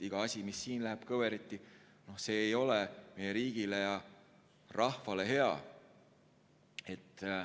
Iga asi, mis siin läheb kõveriti, ei ole meie riigile ja rahvale hea.